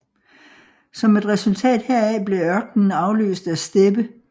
Som et resultat heraf blev ørkenen afløst af steppe